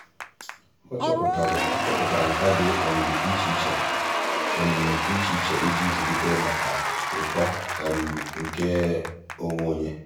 ọ́ chọ́pụ̀tárà nkà dị́ um iche iche iche iche íjí zụ́líté màkà uto um nke um onwe ya.